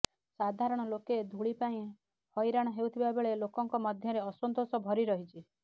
ସାଧାରଣ ଲୋକେ ଧୂଳି ପାଇଁ ହଇରାଣ ହେଉଥିବା ବେଳେ ଲୋକଙ୍କ ମଧ୍ୟରେ ଅସନ୍ତୋଷ ଭରି ରହିଛି